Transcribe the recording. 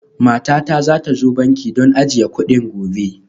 Matata za ta zo banki don ajiye kuɗin gobe